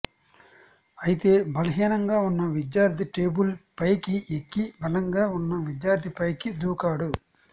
అయితే బలహీనంగా ఉన్న విద్యార్థి టేబుల్ పైకి ఎక్కి బలంగా ఉన్న విద్యార్థిపైకి దూకాడు